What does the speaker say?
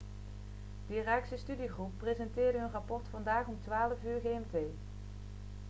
de irakese studiegroep presenteerde hun rapport vandaag om 12.00 uur gmt